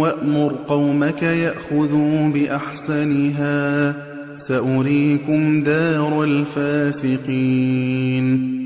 وَأْمُرْ قَوْمَكَ يَأْخُذُوا بِأَحْسَنِهَا ۚ سَأُرِيكُمْ دَارَ الْفَاسِقِينَ